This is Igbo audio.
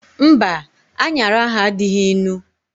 Mba, anyara ahu adịghị ịnụ